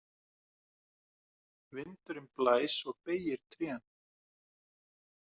Vindurinn blæs og beygir trén.